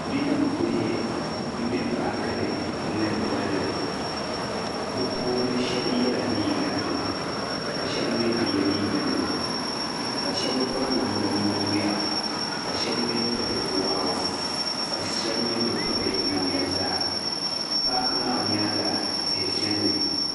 Bidibihi n be paakini. nmŋeri bɔlli bɛ puuni shabi yela liiga nima. ka shabi mi bɛ ye liiga nima kashabi piri namda muna n ŋmera, ka shabi piri waawa, ka shahini bi piri namda zaa, paaki maa nyaaŋa, tihi benimi.